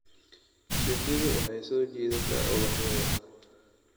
Shinnidu waxay soo jiidataa ubaxyada.